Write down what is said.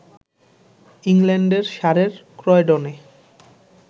ইংল্যান্ডের সারের ক্রয়ডনে